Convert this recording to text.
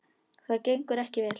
Það gengur ekki vel.